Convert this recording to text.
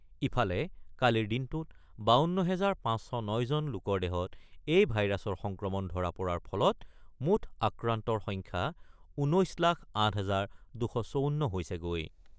ইফালে, কালিৰ দিনটোত ৫২ হাজাৰ ৫০৯ জন লোকৰ দেহত এই ভাইৰাছৰ সংক্ৰমণ ধৰা পৰাৰ ফলত মুঠ আক্ৰান্তৰ সংখ্যা ১৯ লাখ ৮ হাজাৰ ২৫৪ হৈছেগৈ।